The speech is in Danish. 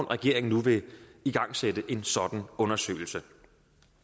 regeringen nu igangsætte en sådan undersøgelse